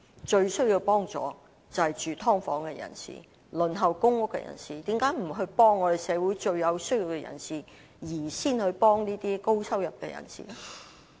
最需要幫助的是住在"劏房"和輪候公屋的人，為何不幫助社會上最有需要的人而先幫助高收入的人呢？